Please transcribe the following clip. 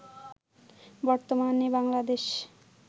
বর্তমানে বাংলাদেশ